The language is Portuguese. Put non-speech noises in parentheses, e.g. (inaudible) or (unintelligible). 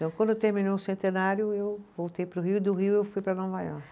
(unintelligible) Quando terminou o centenário, eu voltei para o Rio, e do Rio eu fui para Nova Iorque.